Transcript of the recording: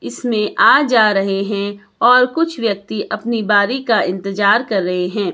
इसमें आज जा रहे है और कुछ व्यक्ति अपनी बारी का इंतजार कर रहे है।